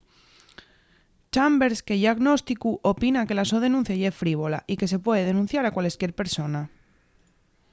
chambers que ye agnósticu opina que la so denuncia ye frívola” y que se puede denunciar a cualesquier persona.